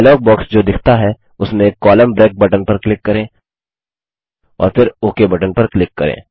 dialogue box जो दिखता है उसमें कोलम्न ब्रेक बटन पर क्लिक करें और फिर ओक बटन पर क्लिक करें